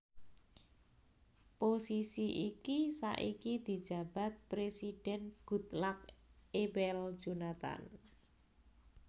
Posisi iki saiki dijabat Présidhèn Goodluck Ebele Jonathan